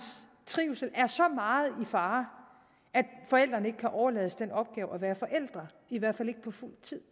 trivsel er så meget i fare at forældrene ikke kan overlades den opgave at være forældre i hvert fald ikke på fuld tid